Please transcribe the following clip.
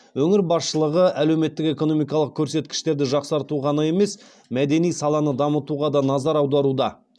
өңір басшылығы әлеуметтік экономикалық көрсеткіштерді жақсартуға ғана емес мәдени саланы дамытуға да назар аударуда